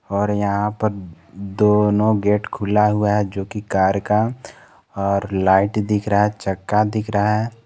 और यहां पर दोनों गेट खुला हुआ है जो की कार का और लाइट दिख रहा है चक्का दिख रहा है।